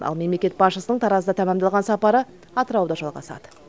ал мемлекет басшысының таразда тәмамдалған сапары атырауда жалғасады